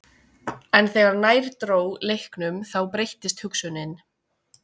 En þegar nær dró leiknum þá breyttist hugsunin.